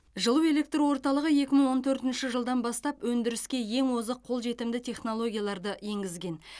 жылу электр орталығы екі мың он төртінші жылдан бастап өндіріске ең озық қолжетімді технологияларды енгізген